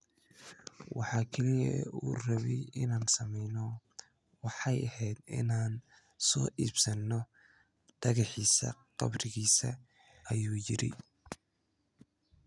"Waxa kaliya ee uu rabay inaan sameyno waxay ahayd inaan soo iibsano dhagaxiisa qabrigiisa," ayuu yidhi.